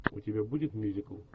у тебя будет мюзикл